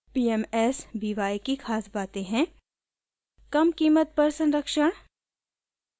pmsby की ख़ास बातें हैं: कम कीमत पर संरक्षण